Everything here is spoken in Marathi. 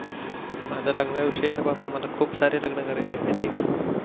माझ्या लग्नांविषयी तर बाबू मला खूप सारे लग्नान करायेचे आहे माहित आहे का?